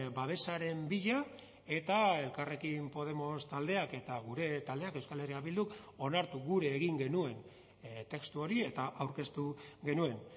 babesaren bila eta elkarrekin podemos taldeak eta gure taldeak euskal herria bilduk onartu gure egin genuen testu hori eta aurkeztu genuen